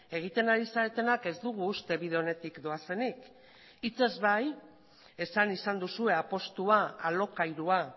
egiten ari zaretenak ez dugu uste bide onetik doazenik hitzez bai esan izan duzue apustua alokairua